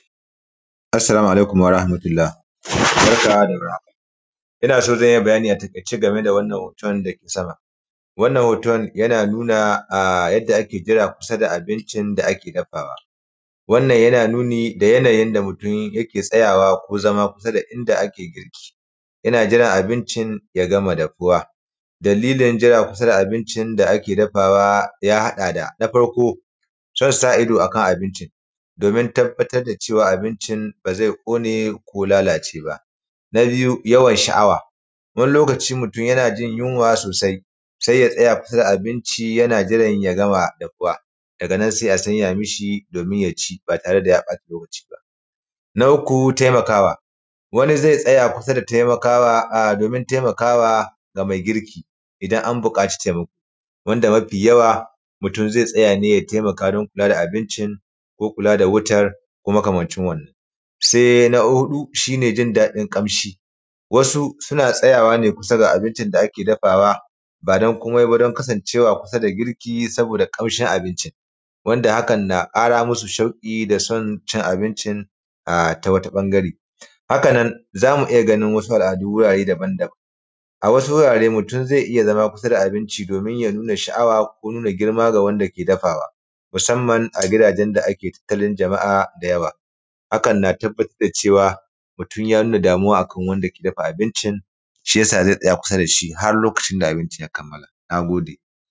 Assalamu alaikum warahamatullah, barka da war haka, ina son zan yi bayani a taikace a game da wannan hoton can dake sama. Wannan hoton yana nuna a yanda ake jira kusa da abincin da ake dafawa. Wannan yana nuni da yana yin da mutum yake tsayawa ko zama kusa da inda ake girki, yana jiran abincin ya gama dafuwa, dalilin jira kusa da abincin da ake dafawa ya haɗa da, na farko son sa ido akan abinci, domin tabbatar da cewa abincin ba zai ƙone ko lalaceba. Na biyu yawan sha’awa, wani lokaci mutum yana jin yunwa sosai, sai ya tsaya kusa da abincin yana jiran ya gama dafuwa, daga nan sai a sanya mishi domin ya ci ba tare da bata lokaci ba. Na uku taimakawa, wani zai tsaya kusa da taimakawa a domin taimakawa game girki idan an bukaci taimako, wanda mafi yawa mutum zai tsaya ne ya taimaka don kula da abinci ko kula da wutar ko makamanci wannan. Sai na huɗu shi ne jin daɗin kamshi: wasu suna tsayawa ne kusa da abincin da ake dafawa ba don kome ba sai don kasancewa kusa da girki saboda ƙamshin abincin, wanda haka na ƙara musu shauƙi da son cin abincin a tawata ɓangare. Haka nan zamu iya ganin wasu al’adu gurare dabam-dabam, a wasu wurare mutum zai iya zama kusa da abinci domin ya nuna sha’awa ko nuna girma ga wanda ke dafawa, musamman a gidajen da ake tattalin jama’a da yawa, haka na tabbatar da cewa mutum ya nuna damuwa akan wanda ke dafa abincin, shiyasa zai tsaya kusa dashi har lokacin da abincin ya kammala. Na gode.